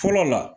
Fɔlɔ la